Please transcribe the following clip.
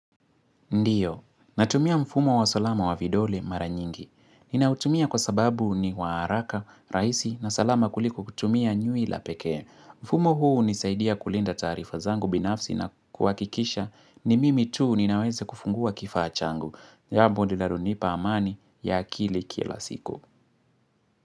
Ndiyo, natumia mfumo wa salama wa vidole mara nyingi. Ninautumia kwa sababu ni wa haraka, rahisi na salama kuliko kutumia nywila pekee. Mfumo huu hunisaidia kulinda taarifa zangu binafsi na kuhakikisha ni mimi tu ninaweze kufungua kifaa changu. Jambo linalonipa amani ya akili kila siku.